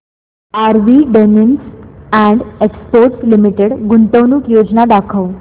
RV denims and exports limited गुंतवणूक योजना दाखव